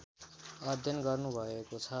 अध्ययन गर्नुभएको छ